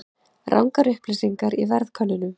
Rangar upplýsingar í verðkönnun